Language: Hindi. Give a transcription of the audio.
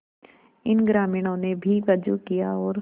इन ग्रामीणों ने भी वजू किया और